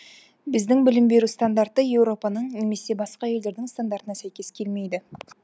біздің білім беру стандарты еуропаның немесе басқа елдердің стандартына сәйкес келмейді